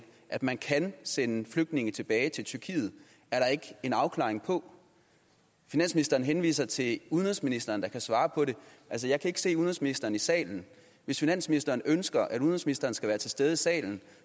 at man kan sende flygtninge tilbage til tyrkiet er der ikke en afklaring på finansministeren henviser til udenrigsministeren der kan svare på det altså jeg kan ikke se udenrigsministeren i salen hvis finansministeren ønsker at udenrigsministeren skal være til stede i salen